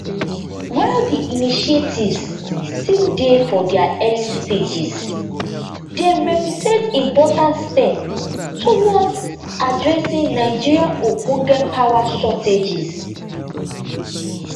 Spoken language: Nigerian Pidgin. while di initiatives still dey for dia early stages dem represent important step towards addressing nigeria ogbonge power shortages